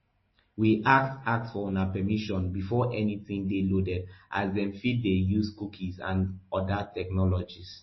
we ask ask for una permission before anytin dey loaded as dem fit dey use cookies and oda technologies